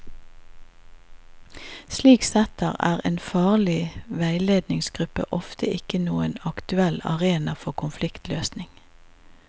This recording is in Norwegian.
Slik sett er en faglig veiledningsgruppe oftest ikke noen aktuell arena for konfliktløsning.